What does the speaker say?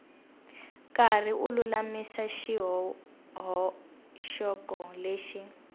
karhi u lulamisa swihoxo leswi